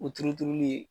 O turu turuli ye